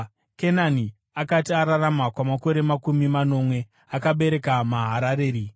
Kenani akati ararama kwamakore makumi manomwe, akabereka Maharareri.